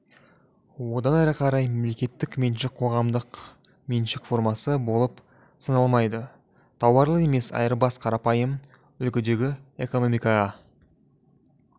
одан әрі қарай мемлекеттік меншік қоғамдық меншік формасы болып саналмайды тауарлы емес айырбас қарапайым үлгідегі экономикаға